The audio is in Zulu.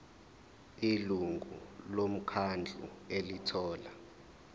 ilungu lomkhandlu elithola